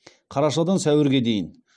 қарашадан сәуірге дейін